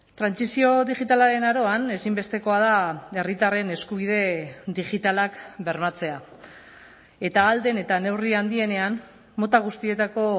trantsizio digitalaren aroan ezinbestekoa da herritarren eskubide digitalak bermatzea eta ahal den eta neurri handienean mota guztietako